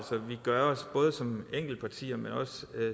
vi gør os både som enkeltpartier men også